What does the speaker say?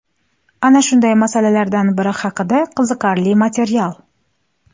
Ana shunday masalalardan biri haqida qiziqarli material .